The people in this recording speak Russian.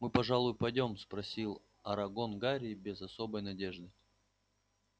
мы пожалуй пойдём спросил арагон гарри без особой надежды